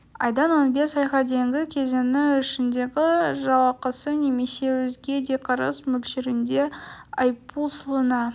айдан он бес айға дейінгі кезеңі ішіндегі жалақысы немесе өзге де кіріс мөлшерінде айыппұл салына